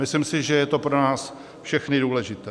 Myslím si, že je to pro nás všechny důležité.